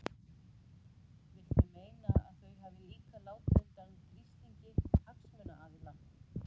Viltu meina að þau hafi líka látið undan þrýstingi hagsmunaaðila?